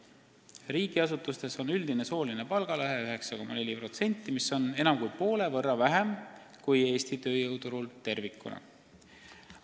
Riigiasutustes on üldine sooline palgalõhe 9,4%, mis on enam kui poole võrra väiksem näitaja kui Eesti tööjõuturu oma tervikuna.